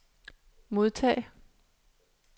modtag